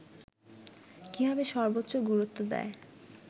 কীভাবে সর্বোচ্চ গুরুত্ব দেয়